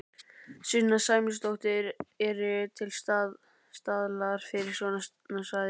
Sunna Sæmundsdóttir: Eru til staðlar fyrir svona svæði?